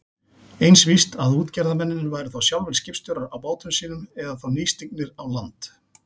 Eins víst að útgerðarmennirnir væru sjálfir skipstjórar á bátum sínum eða þá nýstignir á land.